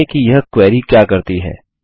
समझाइये कि यह क्वेरी क्या करती है